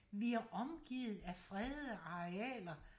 vi er omgivet af fredede arealer